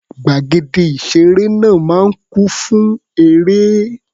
Gbàgede ìṣeré náà máa ń kún fún eré.